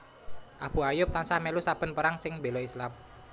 Abu Ayyub tansah mèlu saben perang sing béla Islam